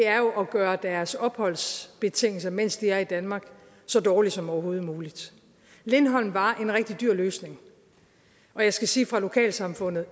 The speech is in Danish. at gøre deres opholdsbetingelser mens de er i danmark så dårlige som overhovedet muligt lindholm var en rigtig dyr løsning og jeg skal sige fra lokalsamfundet